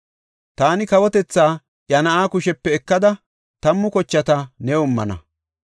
Taani kawotethaa iya na7aa kushepe ekada tammu kochata new immana.